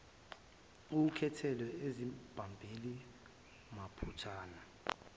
ekhuthele ezibambela mathupha